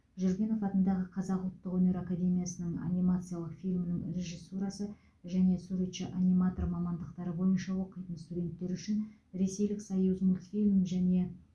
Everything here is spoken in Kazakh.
жүргенов атындағы қазақ ұлттық өнер академиясының анимациялық фильмнің режиссурасы және суретші аниматор мамандықтары бойынша оқитын студенттері үшін ресейлік союзмультфильм және